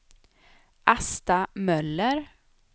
Asta Möller